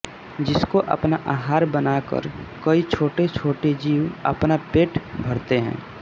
जिसको अपना आहार बनाकर कई छोटे छोटे जीव अपना पेट भरते है